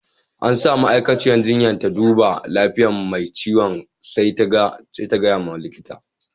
An sa ma'aikatan jinya ta duba lafiyan mai ciwon sai ta gaya ma likita.